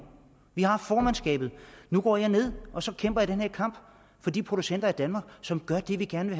vi har formandskabet nu går jeg ned og så kæmper jeg den her kamp for de producenter i danmark som gør det vi gerne